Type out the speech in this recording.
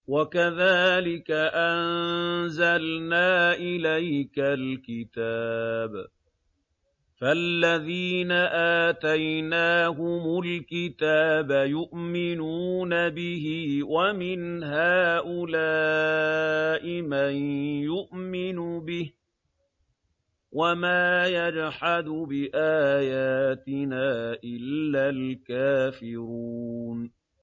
وَكَذَٰلِكَ أَنزَلْنَا إِلَيْكَ الْكِتَابَ ۚ فَالَّذِينَ آتَيْنَاهُمُ الْكِتَابَ يُؤْمِنُونَ بِهِ ۖ وَمِنْ هَٰؤُلَاءِ مَن يُؤْمِنُ بِهِ ۚ وَمَا يَجْحَدُ بِآيَاتِنَا إِلَّا الْكَافِرُونَ